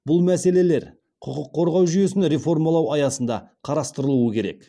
бұл мәселелер құқық қорғау жүйесін реформалау аясында қарастырылуы керек